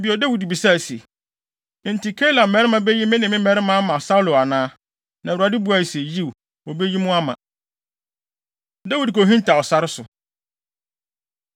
Bio, Dawid bisaa se, “Enti, Keila mmarima beyi me ne me mmarima ama Saulo anaa?” Na Awurade buaa se, “Yiw, wobeyi mo ama.” Dawid Kohintaw Sare So